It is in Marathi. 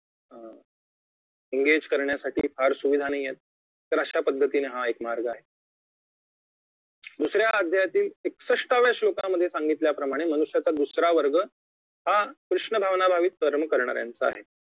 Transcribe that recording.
engage करण्यासाठी फार सुविधा नाहीयेत तर अशा पद्धतीने हा एक मार्ग आहे दुसऱ्या अध्यायातील एकसष्ठव्या श्लोकामध्ये सांगितल्या प्रमाणे मनुष्याचा दुसरा वर्ग हा कृष्ण भावनाभावी कर्म करणाऱ्यांचा आहे